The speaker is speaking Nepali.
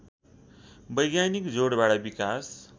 वैज्ञानिक जोडबाट विकास